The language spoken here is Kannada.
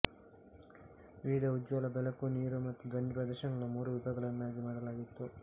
ವಿವಿಧ ಉಜ್ವಲ ಬೆಳಕು ನೀರು ಮತ್ತು ಧ್ವನಿ ಪ್ರದರ್ಶನಗಳನ್ನು ಮೂರು ವಿಭಾಗಗಳನ್ನಾಗಿ ಮಾಡಲಾಯಿತು